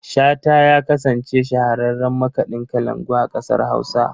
Shata ya kasance shahararren makaɗin kalangu a ƙasar Hausa.